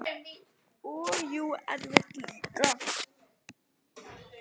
Sagði samt ekki neitt.